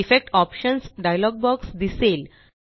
effects options dialog box दिसेल